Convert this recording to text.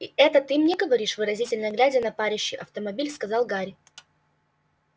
и это ты мне говоришь выразительно глядя на парящий автомобиль сказал гарри